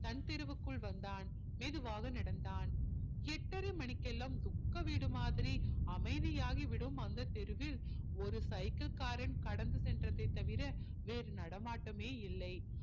தன் தெருவுக்குள் வந்தான் மெதுவாக நடந்தான் எட்டரை மணிக்கெல்லாம் துக்கவீடு மாதிரி அமைதி ஆகி விடும் அந்த தெருவில் ஒரு cycle காரன் கடந்து சென்றதை தவிர வேறு நடமாட்டமே இல்லை